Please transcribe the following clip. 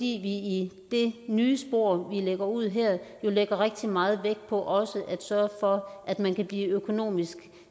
i det nye spor vi lægger ud her jo lægger rigtig meget vægt på også at sørge for at man kan blive økonomisk